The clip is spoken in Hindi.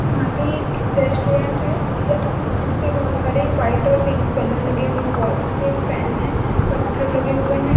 यहाँ पे एक रेस्ट्रोरेंट है ज -- जिसपे बहुत सारे वाईट और पिंक बैलून लगे हुए है वाल्स पे फैन है। पत्थर लगे हुए है।